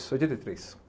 oitenta e três